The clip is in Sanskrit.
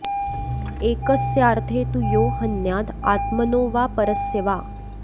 एकस्यार्थे तु यो हन्याद् आत्मनो वा परस्य वा